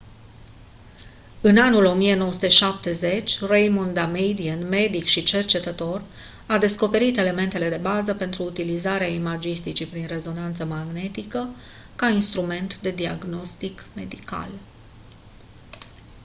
în anul 1970 raymond damadian medic și cercetător a descoperit elementele de bază pentru utilizarea imagisticii prin rezonanță magnetică ca instrument de diagnostic medical